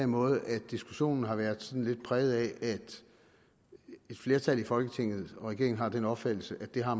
måde at diskussionen har været lidt præget af at et flertal i folketinget og regeringen har den opfattelse at det har